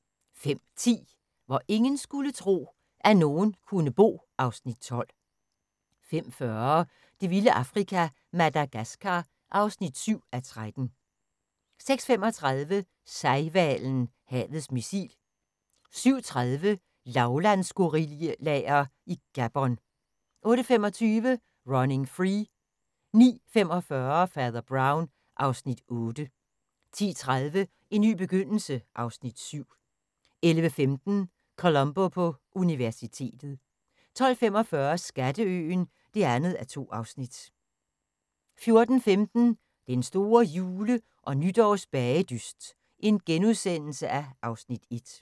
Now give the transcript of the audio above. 05:10: Hvor ingen skulle tro, at nogen kunne bo (Afs. 12) 05:40: Det vilde Afrika - Madagaskar (7:13) 06:35: Sejhvalen – havets missil 07:30: Lavlandsgorillaer i Gabon 08:25: Running Free 09:45: Fader Brown (Afs. 8) 10:30: En ny begyndelse (Afs. 7) 11:15: Columbo på universitetet 12:45: Skatteøen (2:2) 14:15: Den store jule- og nytårsbagedyst (Afs. 1)*